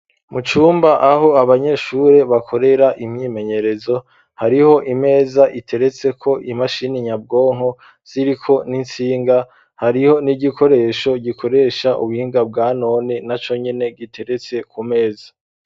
Mucumba aho abanyeshure bakorera imyimenyerezo hariho imeza iteretse ko imashini nyabwonko ziriko n'insinga hariho n'igikoresho gikoresha ubuhinga bwanone na conyine giteretse ku meza.